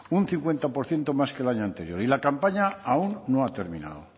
un cincuenta por ciento más que el año anterior y la campaña aún no ha terminado